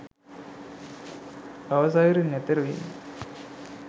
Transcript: භව සයුරින් එතෙරවීම